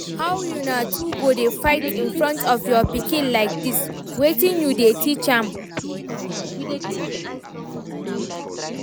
How una two go dey fight in front of your pikin like dis, wetin you dey teach am?